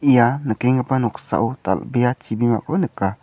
ia nikenggipa noksao dal·bea chibimako nika.